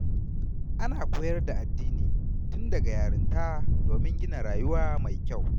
Ana koyar da addini tun daga yarinta domin a gina rayuwa mai kyau.